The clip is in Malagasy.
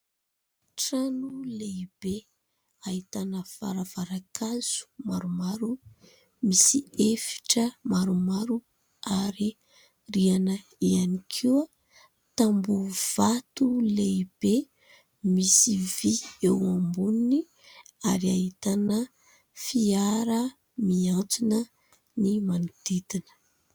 Trano lehibe ahitana varavaran-kazo maromaro, misy efitra maromaro ary rihana ihany koa. Tambobo vato lehibe misy vy eo amboniny ary ahitana fiara miantsona ny manodidina.